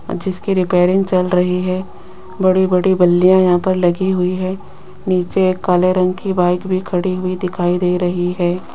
जिसकी रिपेयरिंग चल रही है बड़ी-बड़ी बल्लियां यहां पर लगी हुई है नीचे काले रंग की बाइक भी खड़ी हुई दिखाई दे रही है।